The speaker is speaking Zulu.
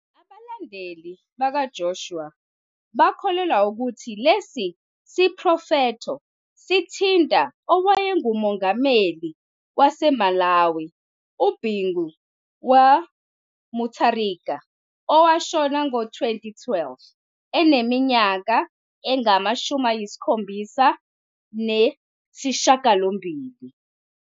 Abalandeli bakaJoshua bakholelwa ukuthi lesi siprofetho sithinta owayengumengameli waseMalawi uBingu wa Mutharika owashona ngo-2012, eneminyaka engama-78.